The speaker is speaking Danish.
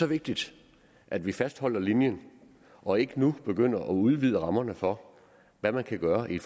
vigtigt at vi fastholder linjen og ikke nu begynder at udvide rammerne for hvad man kan gøre i